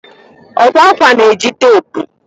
akwa akwa na-eji teepu